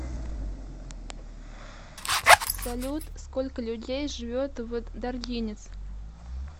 салют сколько людей живет в даргинец